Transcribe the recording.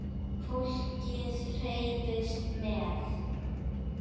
Fólkið hreifst með.